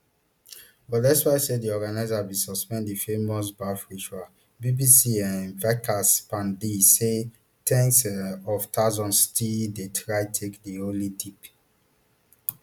but despite say di organisers bin suspend di famous baff ritual bbc um vikas pandey say ten s um of thousands still dey try take di holy dip